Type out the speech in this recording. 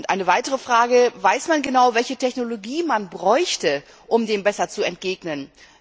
Eine weitere Frage Weiß man genau, welche Technologie man bräuchte, um dem besser zu begegnen?